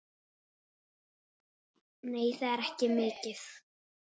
Nei, það er ekki mikið.